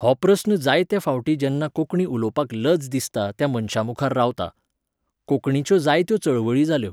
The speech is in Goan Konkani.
हो प्रस्न जायत्या फावटी जेन्ना कोंकणी उलोवपाक लज दिसता त्या मनशा मुखार रावता. कोंकणीच्यो जायत्यो चळवळी जाल्यो